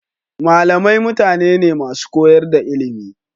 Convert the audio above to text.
Malamai mutane ne masu koyar da ilimi.